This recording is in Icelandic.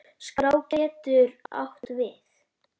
Skrá getur átt við